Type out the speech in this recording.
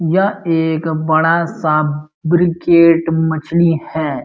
एक बड़ा सा ब्रिगेट मछली है।